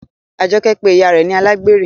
Ajoke pe ìyá rẹ ni alágbèrè.